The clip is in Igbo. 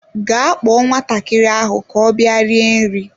Gaa kpọọ nwatakịrị ahụ ka ọ bịa rie nri!